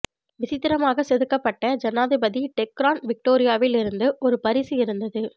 விசித்திரமாக செதுக்கப்பட்ட ஜனாதிபதி டெக்ரான் விக்டோரியாவில் இருந்து ஒரு பரிசு இருந்தது